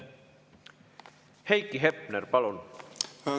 Heiki Hepner, palun!